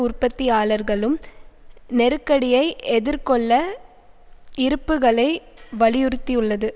உற்பத்தியாளர்களும் நெருக்கடியை எதிர்கொள்ள இருப்புக்களை வலியுறுத்தியுள்ளது